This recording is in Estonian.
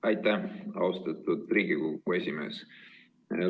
Aitäh, austatud Riigikogu esimees!